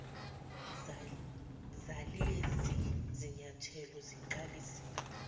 zalezi zinyathelo siqalisile